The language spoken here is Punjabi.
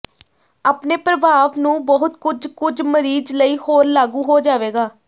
ਆਪਣੇ ਪ੍ਰਭਾਵ ਨੂੰ ਬਹੁਤ ਕੁਝ ਕੁਝ ਮਰੀਜ਼ ਲਈ ਹੋਰ ਲਾਗੂ ਹੋ ਜਾਵੇਗਾ